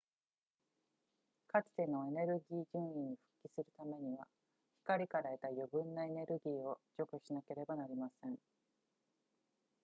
かつてのエネルギー準位に復帰するためには光から得た余分なエネルギーを除去しなければなりません